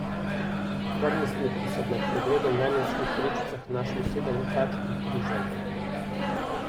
Varnostniki so med pregledom v najlonskih vrečicah našli sedem kač in tri želve.